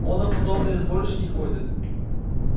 он на подобные сборища не ходит